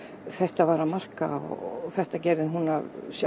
þetta var að marka og þetta gerði hún af